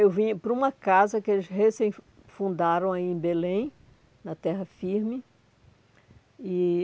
Eu vim para uma casa que eles recém fundaram aí em Belém, na terra firme. E